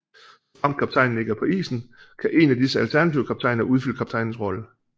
Såfremt kaptajnen ikke er på isen kan én af disse alternative kaptajner udfylde kaptajnens rolle